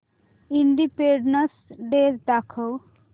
independence day दाखव